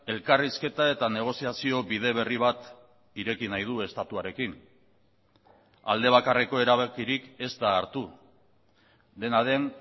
elkarrizketa eta negoziazio bide berri bat ireki nahi du estatuarekin alde bakarreko erabakirik ez da hartu dena den